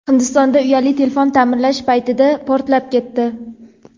Hindistonda uyali telefon ta’mirlash paytida portlab ketdi.